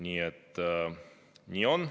Nii et nii on.